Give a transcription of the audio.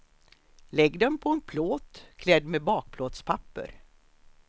Lägg dem på en plåt, klädd med bakplåtspapper.